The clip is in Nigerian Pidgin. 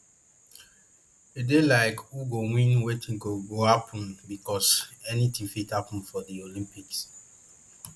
e dey like who go win wetin go go happun becos anything fit happun for di olympics